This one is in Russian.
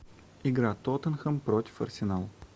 игра тоттенхэм против арсенал